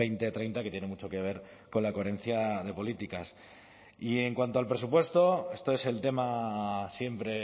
dos mil treinta que tiene mucho que ver con la coherencia de políticas y en cuanto al presupuesto esto es el tema siempre